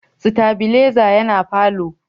stabileza yana falo